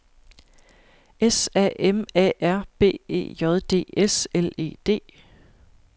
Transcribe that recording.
S A M A R B E J D S L E D